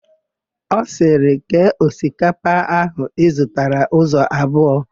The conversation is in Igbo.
Ọ sịrị, "kee osikapa áhụ̀ ị zụtara ụzọ abụọ"!